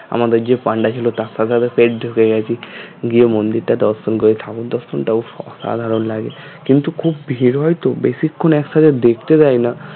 আমাদের যে পান্ডা ছিল তার সাথে আরও ঢুকে গেছি গিয়ে মন্দিরটা দর্শন করে ঠাকুর দর্শনটাও অসাধারণ লাগে কিন্তু খুব ভিড় হয় তো বেশিক্ষন একসথে দেখতে দেয়না